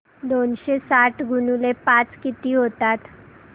दोनशे साठ गुणिले पाच किती होतात